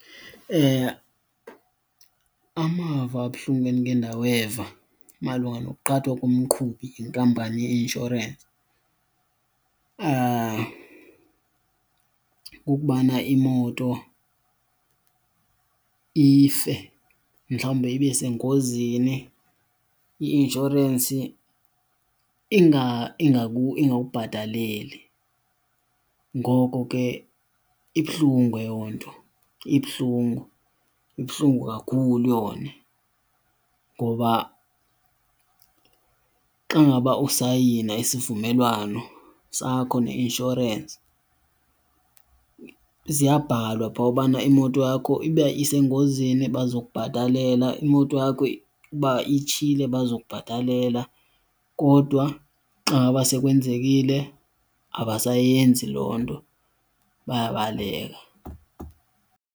Amava abuhlungu endike ndaweva malunga nokuqhathwa komqhubi yinkampani ye-insurance kukubana imoto ife, mhlawumbe ibe sengozini i-inshorensi ingakubhataleli. Ngoko ke ibuhlungu eyo nto ibuhlungu, ibuhlungu kakhulu yona. Ngoba xa ngaba usayina isivumelwano sakho neinshorensi ziyabhalwa phaa ubana imoto yakho uba isengozini baza kubhatalela, imoto yakho uba itshile baza kubhatalela, kodwa xa ngaba sekwenzekile abayenzi loo nto bayabaleka.